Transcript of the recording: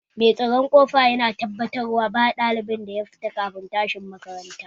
Mai tsaron ƙofa yana tabbatarwa ba ɗalibin da ya fita kafin lokacin tashi makaranta